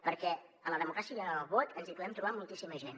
perquè en la democràcia i en el vot ens hi podem trobar moltíssima gent